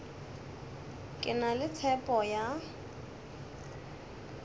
ke na le tshepo ya